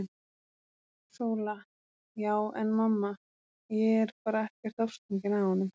SÓLA: Já en mamma, ég er bara ekkert ástfangin af honum!!